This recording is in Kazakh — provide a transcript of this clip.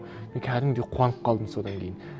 мен кәдімгідей қуанып қалдым содан кейін